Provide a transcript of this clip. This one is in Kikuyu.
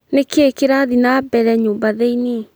Nĩ kĩ kĩrathiĩ na mbere nyũmba thĩiniĩ